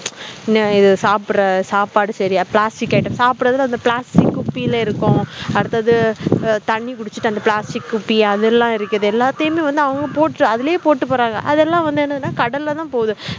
நான் இத சாப்பிடுற சாப்ட்டு plastic item அந்த சாபிப்டுற plastic குப்பிகள இருக்கும் அடுத்தது தண்ணி குடிச்சிட்டு அந்த plastic குபியா இருக்குது எல்லாத்தையும் அதுலே அதுலே போட்டுபோரங்க அதலாம்வந்துதான்என்னனா கடலதான் போது